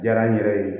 Diyara n yɛrɛ ye